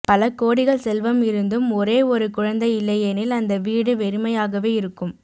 பல கோடிகள் செல்வம் இருந்தும் ஒரே ஒரு குழந்தை இல்லையெனில் அந்த வீடு வெறுமையாகவே இருக்கும்